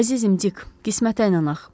Əzizim Dik, qismətə inanaq.